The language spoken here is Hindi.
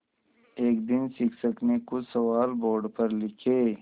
एक दिन शिक्षक ने कुछ सवाल बोर्ड पर लिखे